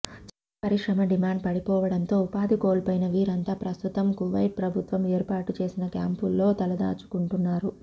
చమురు పరిశ్రమ డిమాండ్ పడిపోవడంతో ఉపాధి కోల్పోయిన వీరంతా ప్రస్తుతం కువైట్ ప్రభుత్వం ఏర్పాటు చేసిన క్యాంపుల్లో తలదాచుకుంటున్నారు